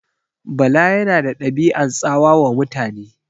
Bala yana da ɗabi'an tsawa wa mutane.